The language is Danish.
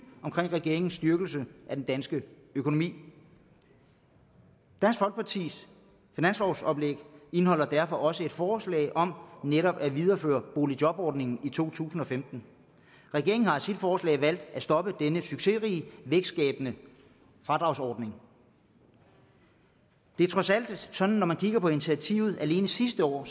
om regeringens styrkelse af den danske økonomi dansk folkepartis finanslovsoplæg indeholder derfor også et forslag om netop at videreføre boligjobordningen i to tusind og femten regeringen har i sit forslag valgt at stoppe denne succesrige vækstskabende fradragsordning det er trods alt sådan når man kigger på initiativerne alene sidste år at